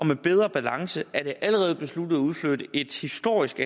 med bedre balance er det allerede besluttet at udflytte et historisk